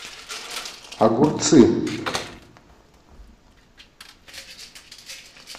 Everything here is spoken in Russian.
огурцы